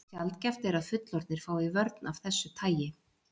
Sjaldgæft er að fullorðnir fái vörn af þessu tagi.